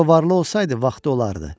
Əgər o varlı olsaydı, vaxtı olardı.